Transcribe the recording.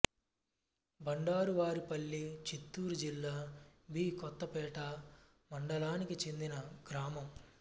బండారువారిపల్లి చిత్తూరు జిల్లా బీ కొత్తకోట మండలానికి చెందిన గ్రామం